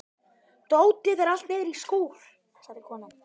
Dótið er allt niðri í skúr, sagði konan.